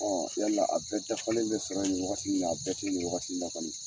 yala a bɛɛ dafalen bɛ sɔrɔ ye nin wagati in na a bɛɛ tɛ yi ni wagati in na kɔni.